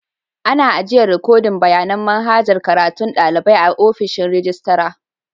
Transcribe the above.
Ana ajiyan rikodin bayanin manhajar karatun dalibai a'ofishin rijistira.